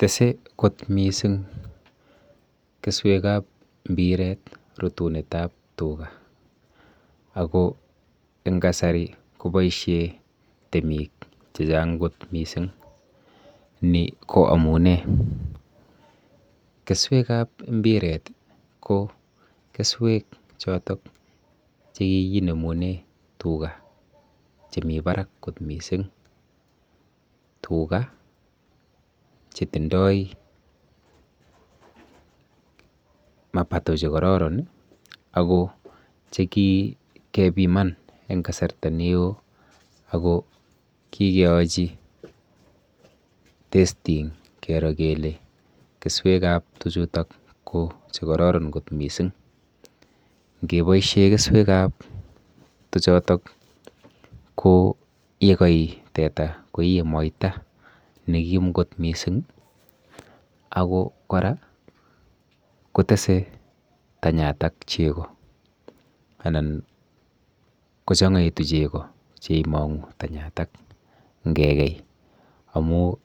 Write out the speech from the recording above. Tese kot mising keswekap mpiret rutunetap tuga ako eng kasari koboishe temik chechang kot mising, ni ko amune; Keswekap mpiret ko keswek chotok chekikinemune tuga chemi barak kot mising, tuga chetindoi mapato chekororon ako chekikepiman eng kasarta neo ako kikeochi testing kero kele keswechuto ko chekororon kot mising. Ngeboishe keswekap tuchotok ko yekai teta koie moita nekim kot mising ako kora kotese tanyatak chego anan kochang'aitu chego cheimong'u tanyatak ngekei amu